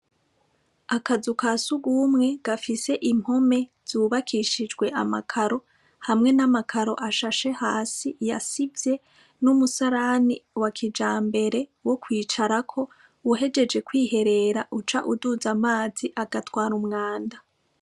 Akazu ka siugumwe gafise impome zubakishijwe amakaro hamwe n'amakaro ashashe hasi yasivye n'umusalani wa kija mbere wo kwicarako uhejeje kwiherera uca uduzi amazi agatwara umwanda.